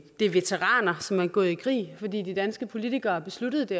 det er veteraner som er gået i krig fordi de danske politikere har besluttet det